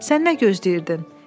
Sən nə gözləyirdin?